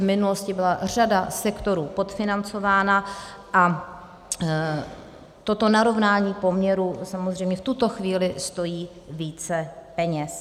V minulosti byla řada sektorů podfinancována a toto narovnání poměrů samozřejmě v tuto chvíli stojí více peněz.